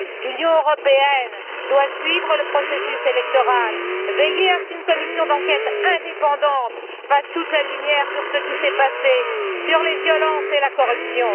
L'Union européenne doit suivre le processus électoral, veiller à ce qu'une commission d'enquête indépendante fasse toute la lumière sur ce qui s'est passé, sur les violences et la corruption.